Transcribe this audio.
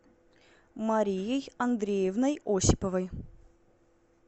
марией андреевной осиповой